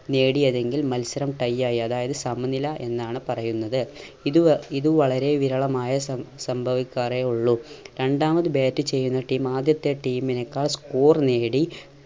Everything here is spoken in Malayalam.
നേടിയതെങ്കിൽ മത്സരം tie ആയി അതായത് സമനില എന്നാണ് പറയുന്നത്. ഇത് വ ഇത് വളരെ വിരളമായ സം സംഭവിക്കാറേ ഉള്ളൂ. രണ്ടാമത് bat ചെയ്യുന്ന team ആദ്യത്തെ team നേക്കാൾ score നേടി